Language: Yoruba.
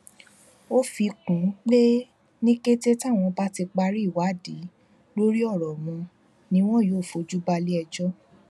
ó fi kún un pé ní kété táwọn bá ti parí ìwádìí lórí ọrọ wọn ni wọn yóò fojú balẹẹjọ